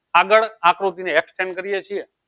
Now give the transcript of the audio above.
આગળ આકૃતિ ને extent કરીએ છીએ